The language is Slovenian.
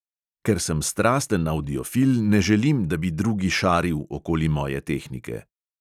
"Ker sem strasten avdiofil, ne želim, da bi drugi "šaril" okoli moje tehnike."